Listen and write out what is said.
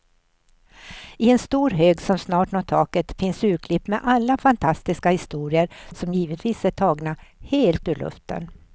I en stor hög som snart når taket finns urklipp med alla fantastiska historier, som givetvis är tagna helt ur luften.